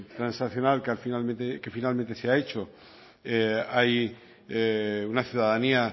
transaccional que finalmente se ha hecho hay una ciudadanía